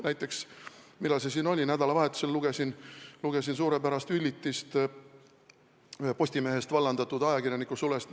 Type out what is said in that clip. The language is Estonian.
Näiteks nädalavahetusel ma lugesin suurepärast üllitist ühe Postimehest vallandatud ajakirjaniku sulest.